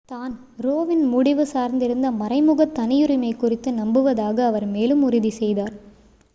தான் ரோ வின் முடிவு சார்ந்திருந்த மறைமுக தனியுரிமை குறித்து நம்புவதாக அவர் மேலும் உறுதி செய்தார்